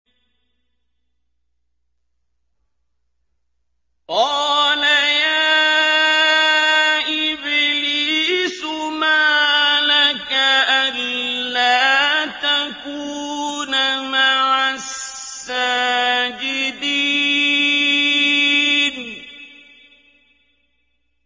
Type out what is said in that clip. قَالَ يَا إِبْلِيسُ مَا لَكَ أَلَّا تَكُونَ مَعَ السَّاجِدِينَ